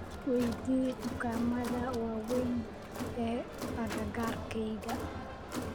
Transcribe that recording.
weydii dukaamada waaweyn ee agagaarkayga